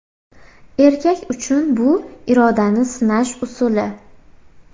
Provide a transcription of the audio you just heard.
Erkak uchun bu irodani sinash usuli.